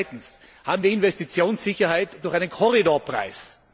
Zweitens Haben wir Investitionssicherheit durch einen Korridorpreis?